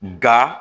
Nka